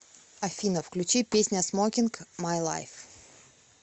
афина включи песня смокинг май лайф